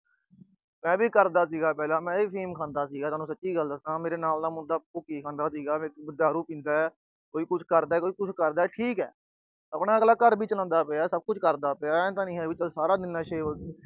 ਮੈਂ ਵੀ ਕਰਦਾ ਸੀਗਾ ਪਹਿਲਾ, ਮੈਂ ਵੀ ਅਫੀਮ ਖਾਂਦਾ ਸੀ, ਮੈਂ ਤੁਹਾਨੂੰ ਸੱਚੀ ਗੱਲ ਦੱਸਾ। ਮੇਰੇ ਨਾਲ ਦਾ ਮੁੰਡਾ ਭੁੱਕੀ ਖਾਂਦਾ ਸੀਗਾ, ਦਾਰੂ ਪੀਂਦਾ। ਕੋਈ ਕੁਛ ਕਰਦਾ, ਕੋਈ ਕੁਛ ਕਰਦਾ, ਠੀਕ ਆ। ਅਗਲਾ ਘਰ ਵੀ ਚਲਾਉਂਦਾ ਪਿਆ, ਸਾਰਾ ਕੁਛ ਕਰਦਾ ਪਿਆ, ਆਏ ਤਾਂ ਨੀ ਆ ਵੀ ਸਾਰਾ ਦਿਨ ਨਸ਼ੇ